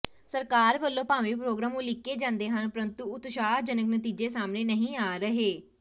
ਸਰਕਾਰ ਵੱਲੋਂ ਭਾਵੇਂ ਪ੍ਰੋਗਰਾਮ ਉਲੀਕੇ ਜਾਂਦੇ ਹਨ ਪ੍ਰੰਤੂ ਉਤਸ਼ਾਹਜਨਕ ਨਤੀਜੇ ਸਾਹਮਣੇ ਨਹੀਂ ਆ ਰਹੇ